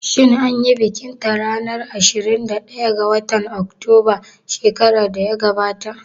Shin anyi bikin ta ranar ashirin da ɗaya ga watan Oktoba shekaran da ya gabata?